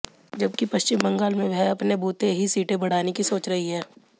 जबकि पश्चिम बंगाल में वह अपने बूते ही सीटें बढ़ाने की सोच रही है